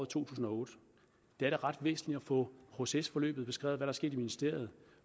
to tusind og otte det er da ret væsentligt at få procesforløbet beskrevet og der sket i ministeriet